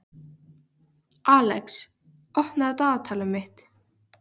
Alex, opnaðu dagatalið mitt.